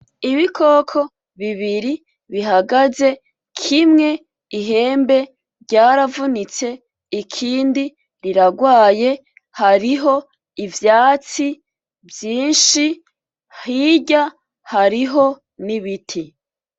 Ibikoko bibiri bihagaze, kimwe ihembe ryaravunitse, ikindi rirarwaye, hariho ivyatsi vyinshi hirya hariho n'ibiti.